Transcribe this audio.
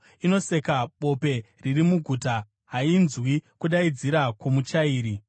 Inoseka bope riri muguta; hainzwi kudaidzira kwomuchairi.